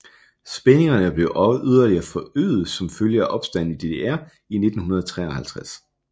Spændingerne blev yderligere forøget som følge af Opstanden i DDR i 1953